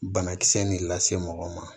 Banakisɛ nin lase mɔgɔ ma